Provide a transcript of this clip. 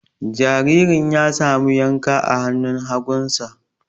Jaririn ya samu yanka a hannun hagunsa.